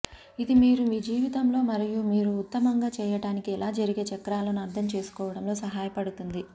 ఇది మీరు మీ జీవితంలో మరియు మీరు ఉత్తమంగా చేయడానికి ఎలా జరిగే చక్రాలను అర్థం చేసుకోవడంలో సహాయపడుతుంది